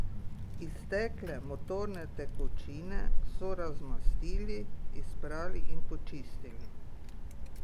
Iztekle motorne tekočine so razmastili, izprali in počistili.